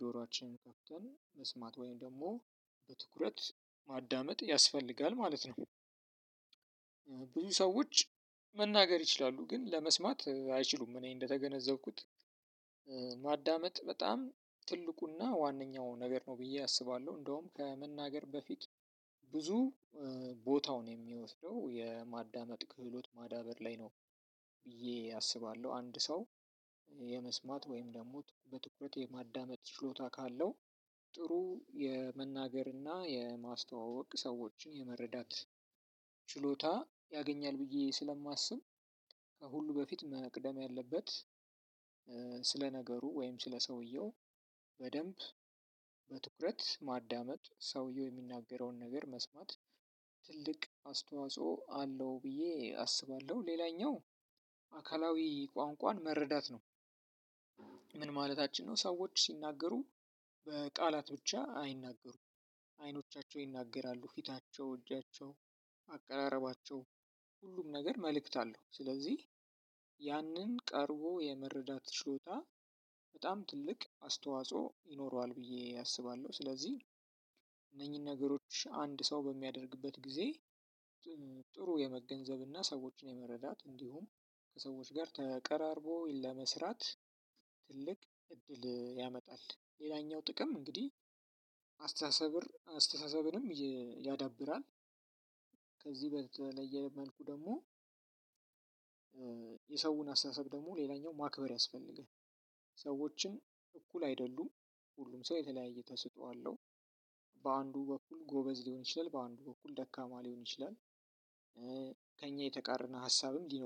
ጆሮአችንን ከፍተን መስማት ወይም ደግሞ በትኩረት ማዳመጥ ያስፈልጋል ማለት ነው። ብዙ ሰዎች መናገር ይችላሉ ግን ለመስማት አይችሉም። እኔ እንደተገነዘብኩት ማዳመጥ በጣም ትልቁና ዋነኛው ነገር ነው ብዬ አስባለሁ። እንደውም ከመናገር በፊት ብዙ ቦታውን የሚወስደው የማዳመጥ ክህሎት ማዳበር ላይ ነው። ብዬ አስባለሁ። አንድ ሰው የመስማት ወይም ደግሞ በትኩረት የማዳመጥ ችሎታ ካለው ጥሩ የመናገርና የማስተዋወቅ ሰዎችን የመረዳት ችሎታ ያገኛል። ብዬ ስለማስብ። ከሁሉ በፊት መቅደም ያለበት ስለ ነገሩ ወይም ስለ ሰውየው በደንብ በትኩረት ማዳመጥ ሰውየው የሚናገረውን ነገር መስማት ትልቅ አስተዋጽኦ አለው ብዬ አስባለሁ። ሌላኛው አካላዊ ቋንቋን መረዳት ነው። ምን ማለታችን ነው? ሰዎች ሲናገሩ በቃላት ብቻ አይናገሩም። አይኖቻቸው ይናገራሉ ፊታቸው እጃቸው አቀራረባቸው ሁሉም ነገር መልእክት አለው። ስለዚህ ያንን ቀርቦ የመረዳት ችሎታ በጣም ትልቅ አስተዋጽኦ ይኖረዋል ብዬ አስባለሁ። ስለዚህ እነኚህን ነገሮች አንድ ሰው በሚያደርግበት ጊዜ ጥሩ የመገንዘብና ሰዎችን የመረዳት እንዲሁም ከሰዎች ጋር ተቀራርቦ ለመስራት ትልቅ እድል ያመጣል። ሌላኛው ጥቅም እንግዲህ አስተሳሰብንም ያዳብራል። ከዚህ በተለየ መልኩ ደግሞ የሰውን አስተሳሰብ ደግሞ ሌላኛው ማክበር ያስፈልጋል። እኩል አይደሉም። ሁሉም ሰው የተለያየ ተሰጥኦ አለው። በአንዱ በኩል ጎበዝ ሊሆን ይችላል በአንዱ በኩል ደካማ ሊሆን ይችላል። ከእኛ የተቃረነ ሀሳብም ሊኖር